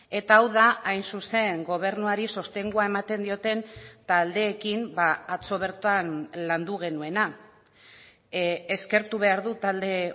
eta hau da hain zuzen gobernuari sostengua ematen dioten taldeekin atzo bertan landu genuena eskertu behar dut talde